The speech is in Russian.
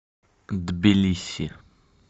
тбилиси